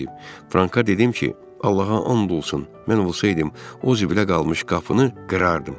Franka dedim ki, Allaha and olsun, mən olsaydım, o zibilə qalmış qapını qırardım.